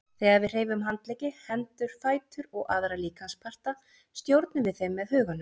Þegar við hreyfum handleggi, hendur, fætur og aðra líkamsparta stjórnum við þeim með huganum.